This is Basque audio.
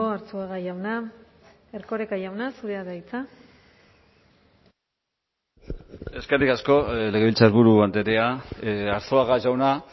arzuaga jauna erkoreka jauna zurea da hitza eskerrik asko legebiltzarburu andrea arzuaga jauna